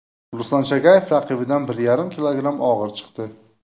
Ruslan Chagayev raqibidan bir yarim kilogramm og‘ir chiqdi.